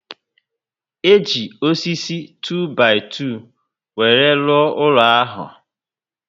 E ji osisi 2-by-2 were rụọ ụlọ ahu